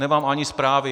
Nemám ani zprávy.